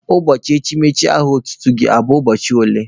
Ụbọchị echimechi aha otutu gị bụ ụbọchị ole?